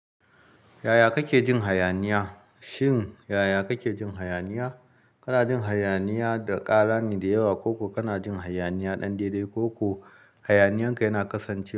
Yaya kake jin hayaniya? Shin yaya kake jin hayaniya? Kana jin hayaniya da ƙara ne da yawa ko kuwa kana jin hayaniya ɗan deɗe ko kuwa hayaniyarka yana kasancewa?